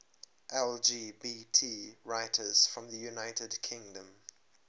lgbt writers from the united kingdom